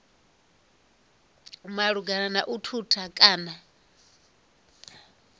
malugana na u thutha kana